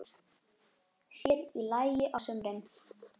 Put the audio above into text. Sér í lagi á sumrin.